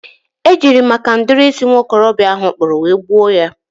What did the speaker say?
e jiri maka ụdị isi nwokorobịa ahụ kpụrụ wee gbuo ya.